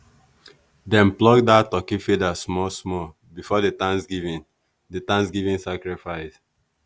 dem pluck that turkey feather small small before the thanksgiving the thanksgiving sacrifice.